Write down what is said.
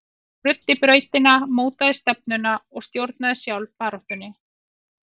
Hún ruddi brautina, mótaði stefnuna og stjórnaði sjálf baráttunni.